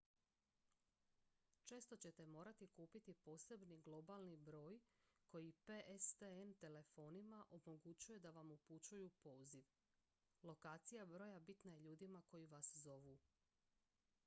često ćete morati kupiti posebni globalni broj koji pstn telefonima omogućuje da vam upućuju poziv lokacija broja bitna je ljudima koji vas zovu